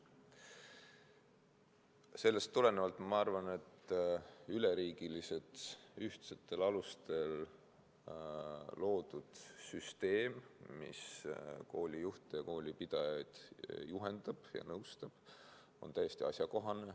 Sellest tulenevalt ma arvan, et üleriigiline ühtsetel alustel loodud süsteem, mis koolijuhte ja koolipidajaid juhendab ja nõustab, on täiesti asjakohane.